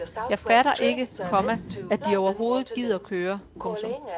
Jeg fatter ikke, komma at de overhovedet gider køre. punktum